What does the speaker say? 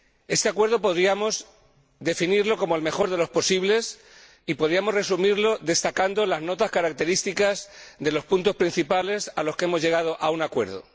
Este acuerdo podríamos definirlo como el mejor de los posibles y podríamos resumirlo destacando las notas características de los puntos principales en los que hemos llegado a un acuerdo.